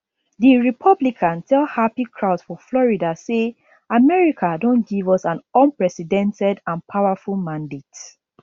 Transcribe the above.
di republican tell happy crowds for florida say america don give us an unprecedented and powerful mandate